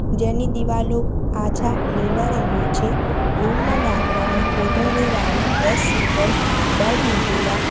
જેની દીવાલો આછા લીલા રંગની છે રૂમ માં લાકડાની કોતરણીવાળી બે સિંગલ બેડ મુકેલા--